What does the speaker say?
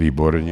Výborně.